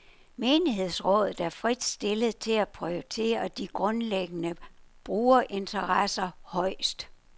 Menighedsrådet er frit stillet til at prioritere de grundlæggende brugerinteresser højest.